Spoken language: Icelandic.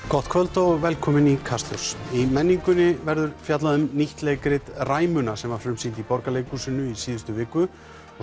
gott kvöld og velkomin í Kastljós í menningunni verður fjallað um nýtt leikrit Ræmuna sem var frumsýnd í Borgarleikhúsinu í síðustu viku og